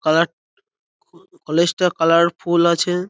Colour college -টা colourful আছে।